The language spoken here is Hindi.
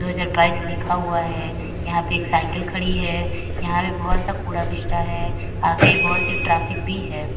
दो हजार बाईस लिखा हुआ है। यहाँ पे एक साईकल खड़ी है। यहाँ पे बहोत सा कूड़ा कचरा है। आगे बहोत सी ट्रैफिक भी है।